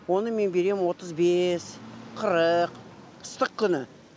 оны мен берем отыз бес қырық ыстық күні